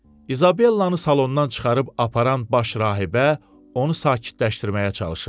İsabellanı salondan çıxarıb aparan baş rahibə onu sakitləşdirməyə çalışırdı.